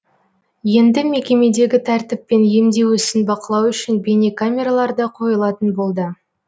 енді мекемедегі тәртіп пен емдеу ісін бақылау үшін бейнекамералар да қойылатын болды